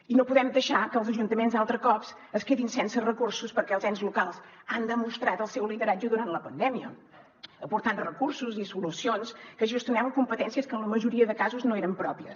i no podem deixar que els ajuntaments altre cop es quedin sense recursos perquè els ens locals han demostrat el seu lideratge durant la pandèmia aportant recursos i solucions que gestionaven competències que en la majoria de casos no eren pròpies